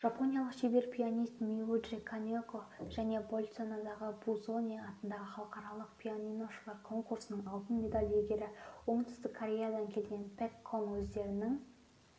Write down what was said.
жапониялық шебер пианист миюджи канеко және больцанодағы бузони атындағы халықаралық пианиношылар конкурсының алтын медаль иегері оңтүстік кореядан келген пэк кон өздерінің